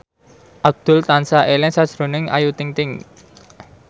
Abdul tansah eling sakjroning Ayu Ting ting